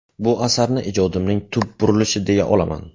Bu asarni ijodimning tub burulishi deya olaman.